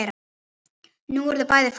Nú eru þau bæði farin.